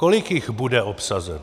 Kolik jich bude obsazeno?